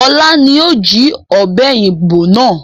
Ọlá ni ó jí ọ̀pẹ̀yìnbo náà